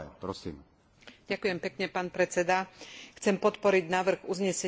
Chcem podporiť návrh uznesenia a stanovisko výboru k sociálnej úlohe športu.